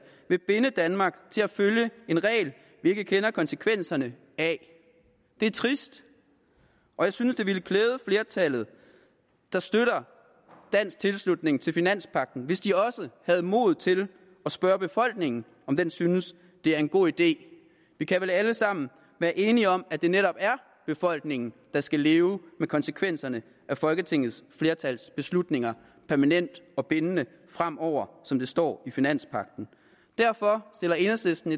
vil binde danmark til at følge en regel vi ikke kender konsekvenserne af det er trist og jeg synes det ville klæde flertallet der støtter dansk tilslutning til finanspagten hvis de også havde mod til at spørge befolkningen om den synes det er en god idé vi kan vel alle sammen være enige om at det netop er befolkningen der skal leve med konsekvenserne af folketingets flertals beslutninger permanent og bindende fremover som det står i finanspagten derfor har enhedslisten